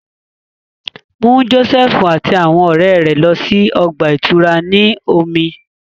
Mu Josefu ati awọn ọrẹ rẹ lọ si ọgba-ìturá ti omi!